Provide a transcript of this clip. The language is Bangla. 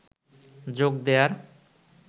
যোগ দেয়ার